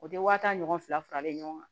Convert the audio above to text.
O tɛ wa tan ɲɔgɔn fila faralen ɲɔgɔn kan